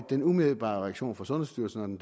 den umiddelbare reaktion fra sundhedsstyrelsen og den